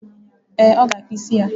Ee, ọ ga akpụ isi ya.